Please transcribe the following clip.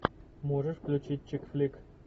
можешь включить чик флик